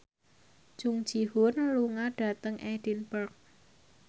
Jung Ji Hoon lunga dhateng Edinburgh